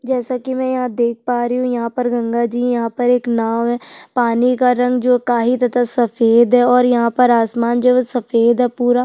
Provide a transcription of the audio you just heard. जैसे की में यहाँ देख पा रही हूँ यहाँ पर गंगा जी यहाँ पर एक नाव है पानी का रंग जो काही तथा सफेद है और यहाँ पर आसमान जो है वो सफेद है पुरा --